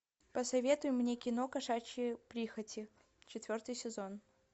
посоветуй мне кино кошачьи прихоти четвертый сезон